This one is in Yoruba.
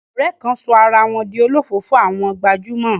Àwọn ọ̀rẹ́ kan sọ ara wọn di olofoofo àwọn gbajúmọ̀.